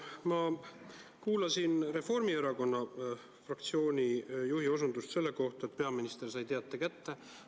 Ma kuulsin Reformierakonna fraktsiooni juhi osutust selle kohta, et peaminister sai teate kätte.